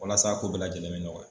Walasa a ko bɛɛ lajɛlen bɛ ɲɔgɔya.